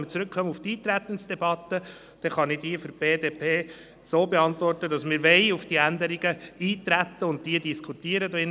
Bezogen auf die Frage des Eintretens kann ich für die BDP sagen, dass wir auf die Änderungen eintreten und diese diskutieren wollen.